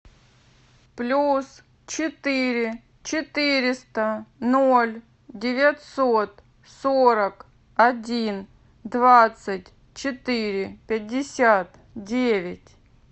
плюс четыре четыреста ноль девятьсот сорок один двадцать четыре пятьдесят девять